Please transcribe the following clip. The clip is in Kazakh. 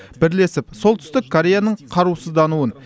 бірлесіп солтүстік кореяның қарусыздануын